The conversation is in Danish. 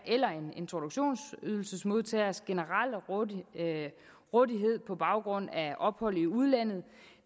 eller en introduktionsydelsesmodtagers generelle rådighed på baggrund af ophold i udlandet